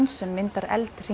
sem myndar